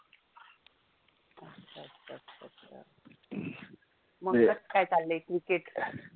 काय चाललय cricket?